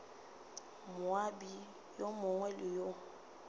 moabi yo mongwe le yo